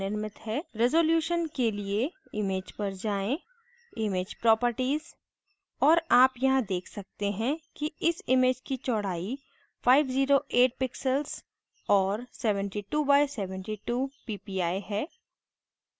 resolutions के लिए image पर जाएँ image properties और आप यहाँ देख सकते हैं कि इस image की चौड़ाई 508 pixels और 72 by 72 ppi है